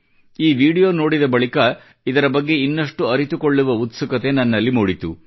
ಈ ವಿಡಿಯೋ ನೋಡಿದ ಬಳಿಕ ಇದರ ಬಗ್ಗೆ ಇನ್ನಷ್ಟು ಅರಿತುಕೊಳ್ಳುವ ಉತ್ಸುಕತೆ ನನ್ನಲ್ಲಿ ಮೂಡಿತು